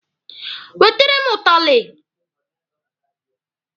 Wetere m ụtalị!